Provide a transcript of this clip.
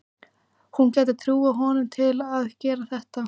Hún gæti trúað honum til að gera þetta.